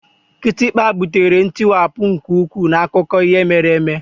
Kịtịkpa butere ntiwapụ nke ukwuu n'akụkọ ihe mere eme.